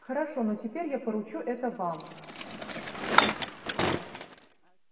хорошо но теперь я поручу это вам